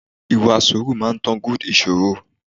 Ìwà sùúrù máa ń tán good ìṣòro.